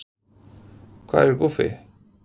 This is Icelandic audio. Hvað er Guffi?